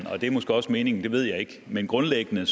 og det er måske også meningen det ved jeg ikke men grundlæggende